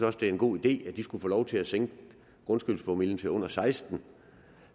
også det er en god idé at de skulle få lov til at sænke grundskyldspromillen til under sekstende